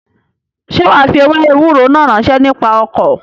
Sé wàá fi ewé ewúro náà ránṣẹ́ nípa ọkọ̀?